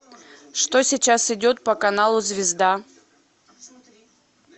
что сейчас идет по каналу звезда